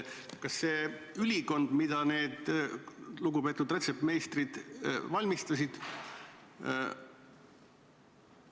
Kas see ülikond, mille need lugupeetud rätsepmeistrid valmistasid, ka reaalsel kõlbab?